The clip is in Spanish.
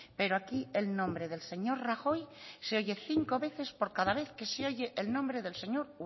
pero aquí el nombre del señor rajoy se oye cinco veces por cada vez que se oye el nombre del señor